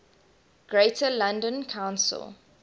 greater london council